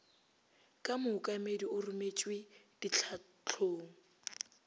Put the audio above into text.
ka mookamedi o rometšwe ditlhahlong